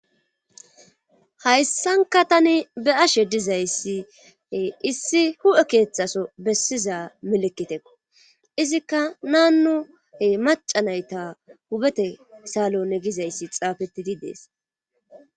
hayssanka tani be ashe dizayssie issi hu7e keeththaso bessiza melekite izikka nannuhe maca nayta hubete saalone gizayssi xaafetidi dees